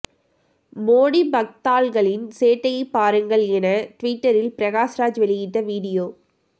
மோடி பக்தாள்களின் சேட்டையை பாருங்கள் என ட்விட்டரில் பிரகாஷ்ராஜ் வெளியிட்ட வீடியோ